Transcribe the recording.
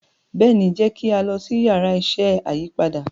béèni jẹ ki a lọ si Yàrá iṣẹ́ ayípadà.